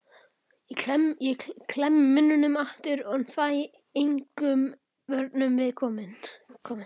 Ég klemmi munninn aftur en fæ engum vörnum við komið.